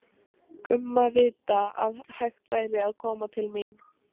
Gumma vita að hægt væri að koma til mín.